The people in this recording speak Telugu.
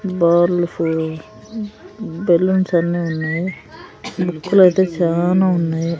బాల్స్ బెలూన్స్ అన్నీ ఉన్నాయి. బుక్ లు అయితే చానా ఉన్నాయి.